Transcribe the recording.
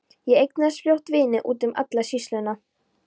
Ég eignaðist fljótt vini úti um alla sýsluna.